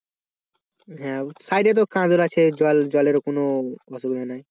হম সাইডে তো আছে জল জলের কোন অসুবিধা নেই